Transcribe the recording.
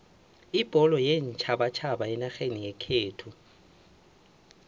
ibholo yeentjhabatjhaba enarheni yekhethu